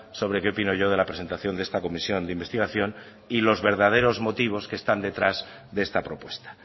sobre qué opino yo de la presentación de esta comisión de investigación y los verdaderos motivos que están detrás de esta propuesta